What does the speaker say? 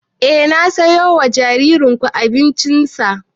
Eh na siyo wa jaririn ku abincin sa